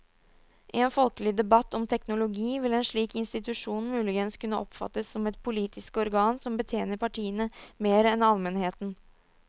I en folkelig debatt om teknologi vil en slik institusjon muligens kunne oppfattes som et politisk organ som betjener partiene mer enn almenheten.